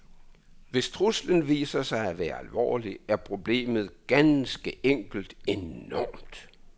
Hvis truslen viser sig at være alvorlig, er problemet ganske enkelt enormt.